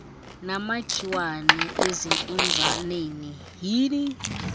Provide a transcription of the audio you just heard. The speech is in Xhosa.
namakhiwane ezinkunzaneni yhini